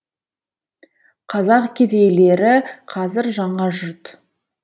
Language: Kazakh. қазақ кедейлері қазір жаңа жұрт